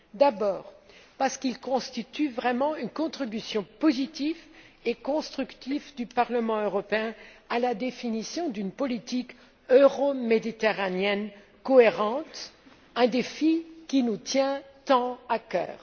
D'abord parce qu'il constitue vraiment une contribution positive et constructive du Parlement européen à la définition d'une politique euroméditerranéenne cohérente, un défi qui nous tient tant à cœur.